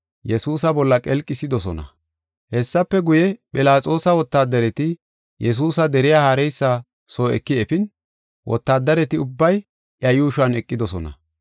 Hessafe guye, Philaxoosa wotaadareti Yesuusa deriya haareysa soo eki efin, wotaadareti ubbay iya yuushuwan eqidosona.